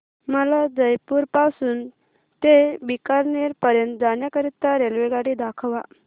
मला जयपुर पासून ते बीकानेर पर्यंत जाण्या करीता रेल्वेगाडी दाखवा